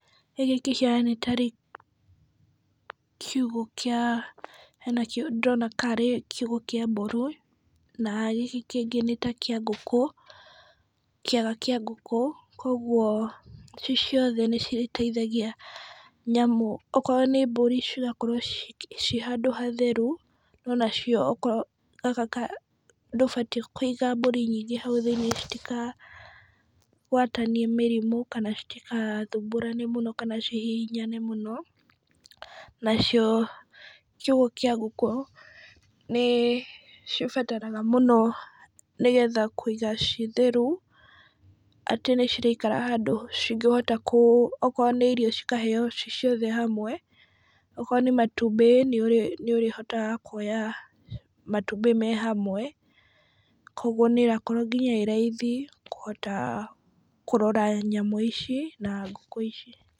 Gĩkĩ kĩhiana nĩ tarĩ kiugũ kĩa, hena kĩo ndĩrona tarĩ kiugũ kĩa mbũri , na gĩkĩ kĩngĩ nĩta kĩa ngũkũ kĩaga kĩa ngũkũ , kũogwo ci ciothe nĩ citeithagia nyamũ , okorwo nĩ mbũri cigakorwo ciĩ handũ hatheru , ona cio okorwo ndũbatiĩ kũiga mbũri nyingĩ hau thĩiniĩ citikagwatanie mĩrimũ, kana citigathũmbũrane mũno, kana cihihinyane mũno, na cio kiugũ kĩa ngũkũ , nĩ cibataraga mũno nĩgetha kũiga ci theru, atĩ nĩ cirĩikaraga handũ cingĩhota kũ, okorwo nĩ irio cikaheo ci ciothe hamwe, okorwo nĩ nĩ matumbĩ nĩ ũrĩhotaga kuoya matumbĩ me hamwe, kũogwo nĩ ĩrakorwo ĩ raithi kũhota kũrora nyamũ ici, na ngũkũ ici.